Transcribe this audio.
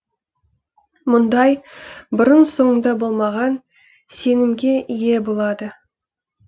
мұндай бұрын соңды болмаған сенімге ие болады